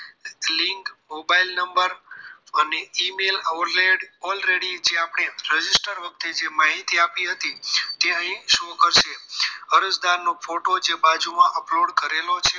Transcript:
Link mobile number અને email already આપણી register વખતે જે માહિતી આપી હતી તે અહીં show કરશે અરજદાર નો ફોટો જે બાજુમાં upload કરેલો છે